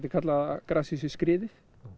kallað að grasið sé skriðið